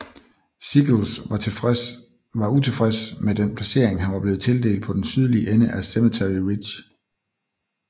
Sickles var utilfreds med den placering han var blevet tildelt på den sydlige ende af Cemetery Ridge